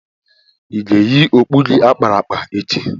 ị ga-eyi okpu gi akpara akpa echi?